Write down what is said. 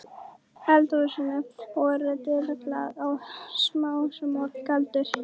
eldhúsinu voru tuldruð spádómsorð og galdraþulur.